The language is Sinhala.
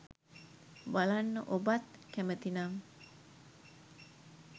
බලන්න ඔබත් කැමතිනම්